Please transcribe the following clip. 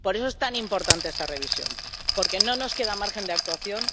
Por eso es tan importante esta revisión, porque no nos queda margen de actuación